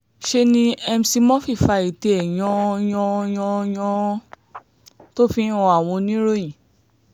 ṣe ni mc murphy fa ètè ẹ̀ yan-an-yan-án-yàn-án-yàn-án tó fi ń han àwọn oníròyìn